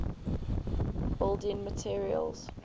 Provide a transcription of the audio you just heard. building materials